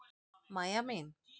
Mæja mín!